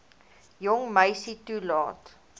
jong meisie toelaat